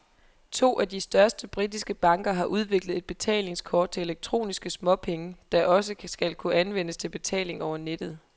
To af de største britiske banker har udviklet et betalingskort til elektroniske småpenge, der også skal kunne anvendes til betaling over nettet.